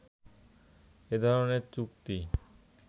এ ধরনের চুক্তি